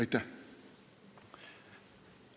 Aitäh!